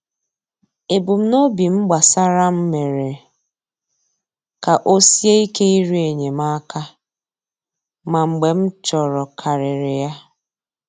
Ebumnobi m gbasara m mere ka o sie ike ịrịọ enyemaka, ma mgbe m chọrọkarịrị ya.